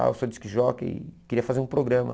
Ah eu sou disc jockey e queria fazer um programa.